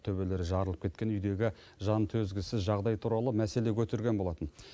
төбелері жарылып кеткен үйдегі жантөзгісіз жағдай туралы мәселе көтерген болатын